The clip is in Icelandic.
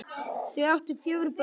Þau áttu fjögur börn